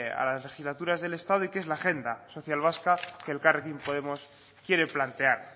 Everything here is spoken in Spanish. a las legislaturas del estado y que es la agenda social vasca que elkarrekin podemos quiere plantear